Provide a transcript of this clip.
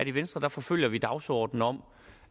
i venstre forfølger vi dagsordenen om